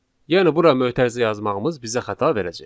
Yəni bura mötərizə yazmağımız bizə xəta verəcək.